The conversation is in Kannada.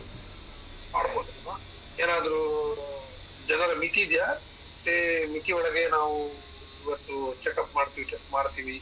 ಮಾಡ್ಬೋದಲ್ವ ಏನಾದ್ರು ಜನರ ಮಿತಿ ಇದ್ಯಾ? ಇಷ್ಟೇ ಮಿತಿ ಒಳಗೆ ನಾವು ಇವತ್ತು checkup ಮಾಡ್ತೀವಿ?